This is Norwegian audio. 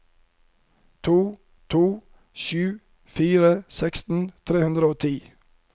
to to sju fire seksten tre hundre og ti